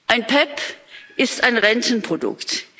Ein PEPP ist ein Rentenprodukt.